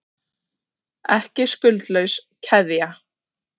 Ekki skuldlaus keðja